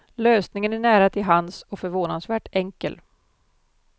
Lösningen är nära tillhands och förvånansvärt enkel.